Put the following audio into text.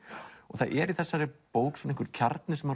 það er í bókinni einhver kjarni sem